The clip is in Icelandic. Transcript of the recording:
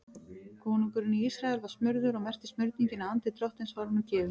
Konungurinn í Ísrael var smurður og merkti smurningin að andi Drottins var honum gefinn.